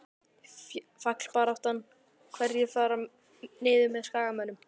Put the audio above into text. Fallbaráttan- Hverjir fara niður með Skagamönnum?